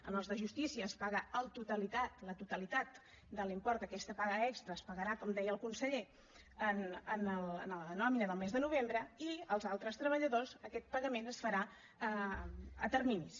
als de justícia se’ls paga la totalitat de l’import d’aquesta paga extra es pagarà com deia el conseller en la nòmina del mes de novembre i als altres treballadors aquest pagament es farà a terminis